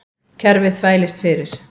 Kerfið þvælist fyrir